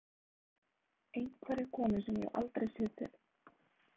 Einhverja konu sem ég hef aldrei séð fyrr.